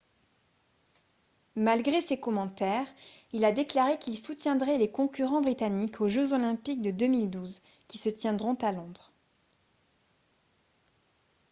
malgré ses commentaires il a déclaré qu'il soutiendrait les concurrents britanniques aux jeux olympiques de 2012 qui se tiendront à londres